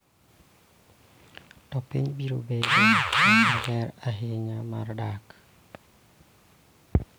To piny biro bedo kama ber ahinya mar dak.